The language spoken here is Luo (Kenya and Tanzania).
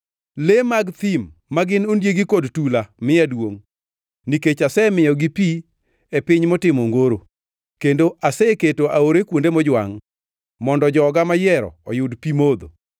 Le mag thim ma gin ondiegi kod tula miya duongʼ, nikech asemiyogi pi e piny motimo ongoro kendo aseketo aore kuonde mojwangʼ, mondo joga mayiero oyud pi modho,